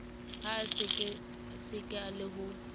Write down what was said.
ha a sekaseka le ho